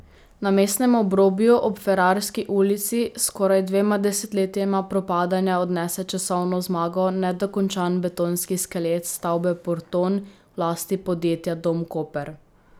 Na mestnem obrobju, ob Ferrarski ulici, s skoraj dvema desetletjema propadanja odnese časovno zmago nedokončan betonski skelet stavbe Porton v lasti podjetja Dom Koper.